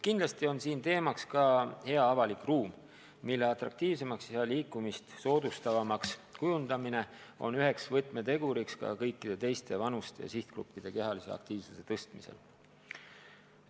Kindlasti on siin teemaks ka hea avalik ruum, mille atraktiivsemaks ja liikumist soodustavamaks kujundamine on üks võtmetegur mis tahes vanuses inimeste kehalise aktiivsuse suurendamisel.